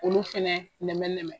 K'olu fɛnɛ nɛmɛnɛmɛ.